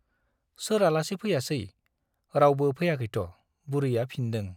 सोर आलासि फैयासै , रावबो फैयाखैथ' बुरैया फिनदों ।